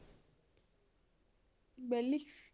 ਬੈਲੀ